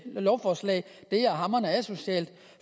lovforslag er hamrende asocialt